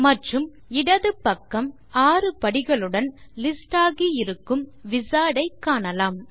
மற்றும் இடது பக்கம் 6 படிகளுடன் லிஸ்ட் ஆகியிருக்கும் விசார்ட் ஐ காணலாம்